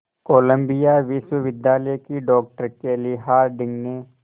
Colombia विश्वविद्यालय की doctor Kelly Harding ने